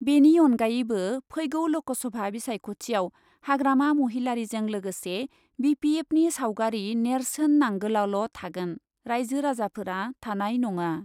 बेनि अनगायैबो फैगौ ल'कसभा बिसायख'थियाव हाग्रामा महिलारीजों लोगोसे बि पि एफनि सावगारि नेर्सोन नांगोलाल' थागोन, राइजो राजाफोरा थानाय नङा।